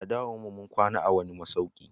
A dawowan mu, mun kwana a'wani masauki.